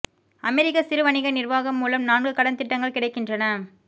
அமெரிக்க சிறு வணிக நிர்வாகம் மூலம் நான்கு கடன் திட்டங்கள் கிடைக்கின்றன